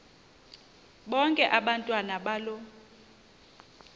bonke abantwana balo